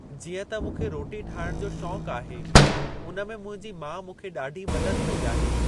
जीअं त मूंखे रोटी ठाहिण जो शौंक आहे, उन में मुंहिंजी माउ मूंखे ॾाढी मदद कई आहे।